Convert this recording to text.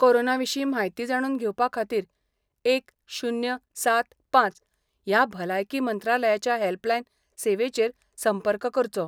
Corona विशीं म्हायती जाणून घेवपा खातीर एक शुन्य सात पांच ह्या भलायकी मंत्रालयाचाच्या हेल्पलायन सेवेचेर संपर्क करचो.